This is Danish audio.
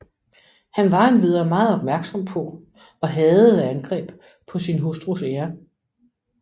Han var endvidere meget opmærksom på og hadede angreb på sin hustrus ære